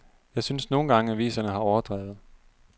Jeg synes nogle gange, aviserne har overdrevet.